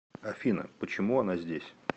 афина почему она здесь